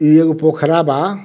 इ एगो पोखरा बा।